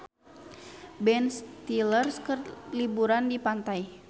Ben Stiller keur liburan di pantai